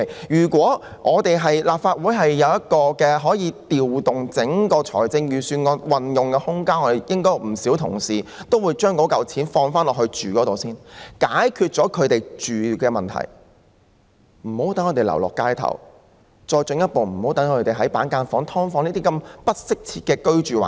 如果立法會可以有空間調動預算案的撥款運用，應有不少議員會提出把款項用作住屋用途，先解決他們的住屋問題，讓他們無需流落街頭，無需繼續居於板間房或"劏房"等不適切的居住環境。